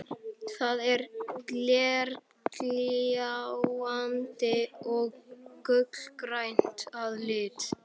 Það er glergljáandi og gulgrænt að lit.